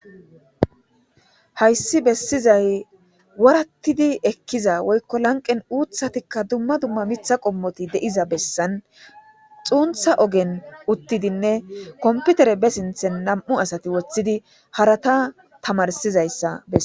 hayssi bessizay wurattidi ekkiza woykko lanqen uuthatikka dumma dumma mitha qommoti de7iza bessan xuuntha ogen uttidinne komputere be sinthen nam7u asati woththidi harata tamarsizayssa bessa